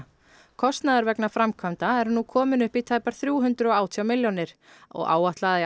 kostnaður vegna framkvæmda er nú kominn upp í tæpar þrjú hundruð og átján milljónir og áætlað að í